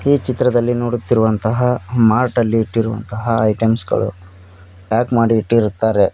ಈ ಚಿತ್ರದಲ್ಲಿ ನೋಡುತ್ತಿರುವಂತಹ ಮಾರ್ಟ್ ಇಟ್ಟಿರುವ ಐಟಮ್ಸ್ ಗಳು ಪ್ಯಾಕ್ ಮಾಡಿ ಇಟ್ಟಿರುತ್ತಾರೆ.